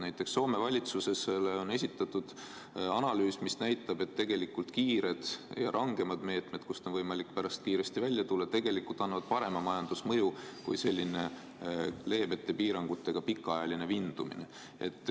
Näiteks Soome valitsusele on esitatud analüüs, mis näitab, et kiired ja rangemad meetmed, millest on võimalik pärast kiiresti välja tulla, annavad tegelikult parema majandusmõju kui selline leebemate piirangutega pikaajaline vindumine.